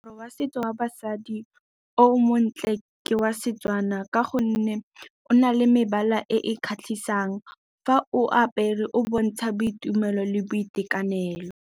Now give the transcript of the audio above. Moaparo wa setso wa basadi o montle ke wa Setswana, ka gonne o na le mebala e e kgatlhisang. Fa o apere, o bontsha boitumelo le boitekanelo.